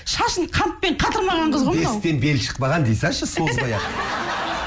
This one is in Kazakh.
шашын қантпен қатырмаған қыз ғой мынау бесіктен белі шықпаған дей салшы созбай ақ